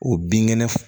O binkɛnɛ